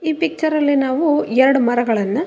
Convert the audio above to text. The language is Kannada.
ಈ ಪಿಕ್ಚರಲ್ಲಿ ನಾವು ಎರಡು ಮರಗಳನ್ನ --